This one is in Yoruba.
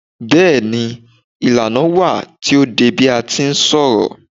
Bẹ́ẹ̀ni, ìlànà wà tí o de bi a ti ń ṣọ̀rọ̀